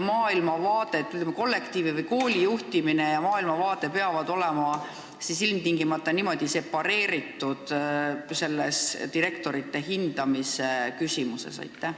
Kas koolikollektiivi juhtimine ja maailmavaade peavad ilmtingimata olema niimoodi separeeritud selles direktorite hindamise küsimuses?